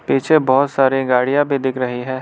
पीछे बहोत सारी गाड़िया भी दिख रही है।